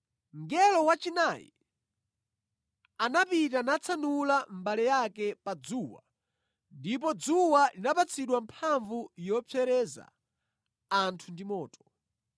Mngelo wachinayi anapita natsanula mbale yake pa dzuwa ndipo dzuwa linapatsidwa mphamvu yopsereza anthu ndi moto.